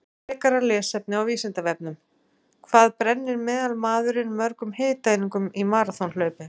Frekara lesefni á Vísindavefnum: Hvað brennir meðalmaðurinn mörgum hitaeiningum í maraþonhlaupi?